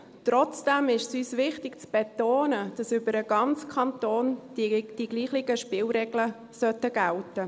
Trotzdem ist es uns wichtig zu betonen, dass über den ganzen Kanton hinweg dieselben Spielregeln gelten sollten.